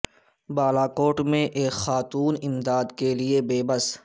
بالاکوٹ میں ایک خاتون امداد کے لئے بے بس